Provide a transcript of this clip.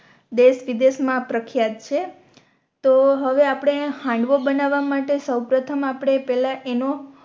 દેશ વિદેશ મા પ્રખિયાત છે તો હવે આપણે હાંડવો બનાવા માટે સૌ પ્રથમ આપણે પેહલા એનો